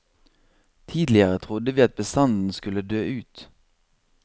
Tidligere trodde vi at bestanden skulle dø ut.